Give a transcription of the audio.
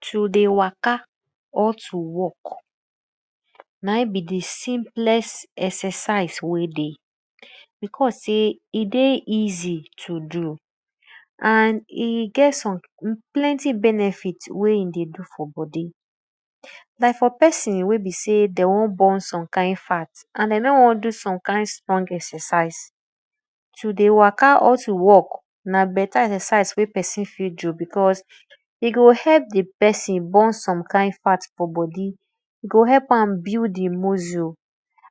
To dey waka or to walk na in be di simplest exercise wey dey beause sey e dey easy to do and e get some plenty benefit wey e dey do for bodi like for pesin wey be sey de won burn some kind ft and de no won do some kind strong exercise to dey waka or to walk na beta exercise wey pesin fit do because e go help di pesin burn some kind fat for bodi, e go heklp am builkd e muscle